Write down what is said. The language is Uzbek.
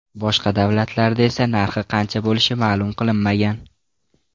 Boshqa davlatlarda esa narxi qancha bo‘lishi ma’lum qilinmagan.